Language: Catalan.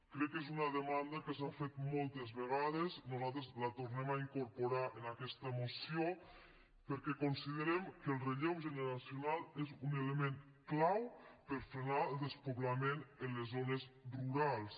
crec que és una demanda que s’ha fet moltes vegades nosaltres la tornem a incorporar en aquesta moció perquè considerem que el relleu generacional és un element clau per frenar el despoblament en les zones rurals